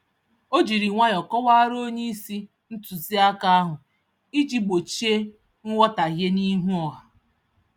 Ọ jírí nwayọọ kọwaara onyeisi ntụziaka ahụ iji gbochie nghọtahie n'ihu ọha